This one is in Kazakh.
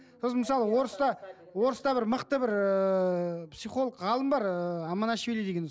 сосын мысалы орыста орыста бір мықты бір ыыы психолог ғалым бар ыыы аманашвили деген